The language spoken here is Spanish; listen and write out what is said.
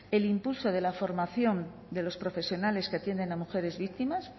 el impulso de la formación de los profesionales que atienden a mujeres víctimas